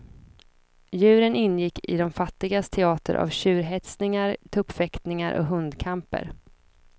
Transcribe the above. Djuren ingick i de fattigas teater av tjurhetsningar, tuppfäktningar och hundkamper.